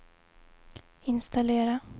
installera